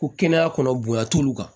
Ko kɛnɛya kɔnɔ bonya t'olu kan